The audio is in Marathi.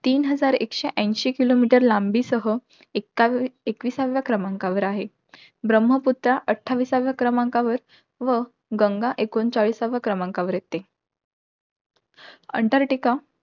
तीन हजार एकशे ऐशी kilometer लांबीसह एक्का~ एकविसाव्या क्रमांकावर आहे. ब्रम्हपुत्रा अठ्ठाविसाव्या क्रमांकावर, व गंगा एकोणचाळीसाव्या क्रमांकावर येते. अंटार्क्टिका